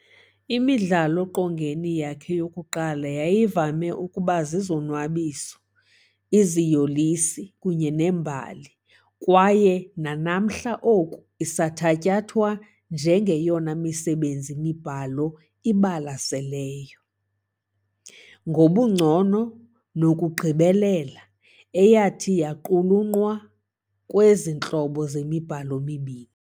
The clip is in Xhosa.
Imidlalo-qongeni yakhe yokuqala yayivame ukuba zizonwabiso - iziyolisi kunye nee-mbali kwaye nanamhla oku isathatyathwa njengeyona misebenzi-mibhalo ibalaseleyo ngobungcono nokugqibelela eyathi yaqulunqwa kwezintlobo zemibhalo zombini.